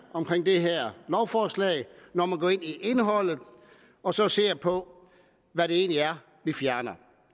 omkring det her lovforslag når man går ind i indholdet og så ser på hvad det egentlig er vi fjerner